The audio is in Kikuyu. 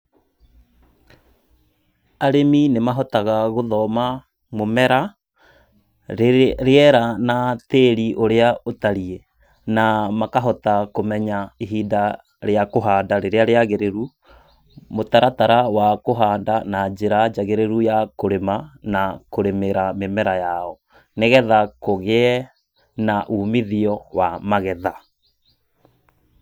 Arĩmi nĩmahotaga gũthoma mũmera, rĩera na tĩĩri ũrĩa ũtariĩ, na makahota kũmenya ihinda rĩa kũhanda rĩrĩa rĩagĩrĩru, mũtaratara wa kũhanda na njĩra njagĩrĩru ya kũrĩma na kũrĩmĩra mĩmera yao. Nĩgetha kũgĩe na umithio wa magetha.